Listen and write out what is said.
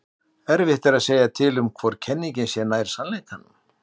Erfitt er að segja til um hvor kenningin sé nær sannleikanum.